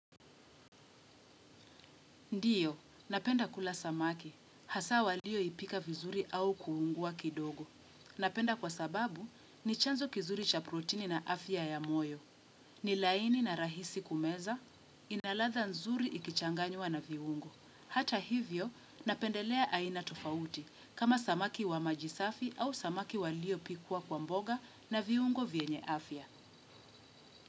Ndiyo, napenda kula samaki, hasa walio ipika vizuri au kuungua kidogo. Napenda kwa sababu, ni chanzo kizuri cha protini na afya ya moyo, ni laini na rahisi kumeza, inaladha nzuri ikichanganywa na viungo. Hata hivyo, napendelea aina tofauti, kama samaki wa maji safi au samaki walio pikwa kwa mboga na viungo vyenye afya.